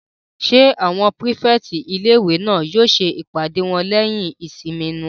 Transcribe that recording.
Ṣé àwọn pírífẹ̀tì ilé-ìwé náà yóò ṣe ìpàdé wọn lẹ́yìn ìsinmi wọn?